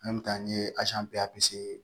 n ye